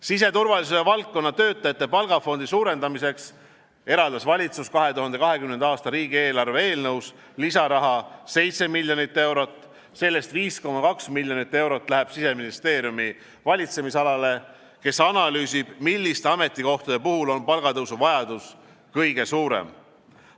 Siseturvalisuse valdkonna töötajate palgafondi suurendamiseks eraldas valitsus 2020. aasta riigieelarve eelnõus lisaraha 7 miljonit eurot, sellest 5,2 miljonit eurot läheb Siseministeeriumi valitsemisalale, kes analüüsib, milliste ametikohtade puhul on palgatõusu vajadus kõige suurem.